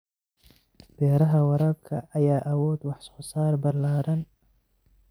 Beeraha waraabka ayaa awood wax soo saar ballaaran.